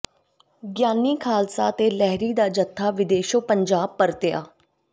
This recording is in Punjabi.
ਗਿਆਨੀ ਖਾਲਸਾ ਤੇ ਲਹਿਰੀ ਦਾ ਜਥਾ ਵਿਦੇਸ਼ੋਂ ਪੰਜਾਬ ਪਰਤਿਆ